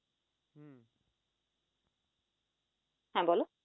হ্যাঁ বল